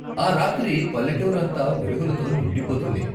ఆ రాత్రి పల్లెటూరు అంతా వెలుగులతో నిండిపోతుంది.